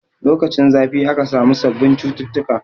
Lokacin zafi aka samu sabbin cututtuka